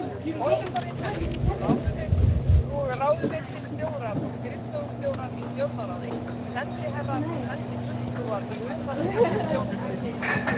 Forsetaritari, ráðuneytisstjórar og skrifstofustjórar í Stjórnarráði, sendiherrar og sendifulltrúar í utanríkisþjónustunni.